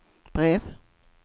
brev